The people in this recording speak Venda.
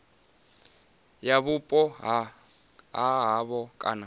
ya vhupo ha havho kana